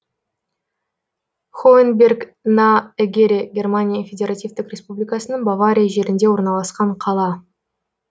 хоэнберг на эгере германия федеративтік республикасының бавария жерінде орналасқан қала